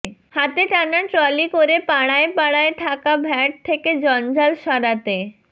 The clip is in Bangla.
হাতে টানা ট্রলি করে পাড়ায় পাড়ায় থাকা ভ্যাট থেকে জঞ্জাল সরাতে